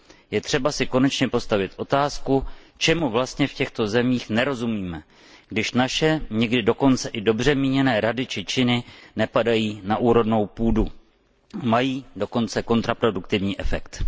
Je třeba si konečně položit otázku, čemu vlastně v těchto zemích nerozumíme, když naše někdy dokonce i dobře míněné rady a činy nepadají na úrodnou půdu, mají dokonce i kontraproduktivní efekt.